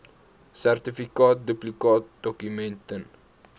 sertifikaat duplikaatdokument ten